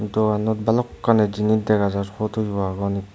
dogannot balokkani jinis dega jar puto yo agon.